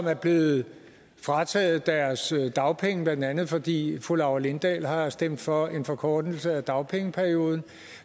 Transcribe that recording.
er blevet frataget deres dagpenge blandt andet fordi fru laura lindahl har stemt for en forkortelse af dagpengeperioden og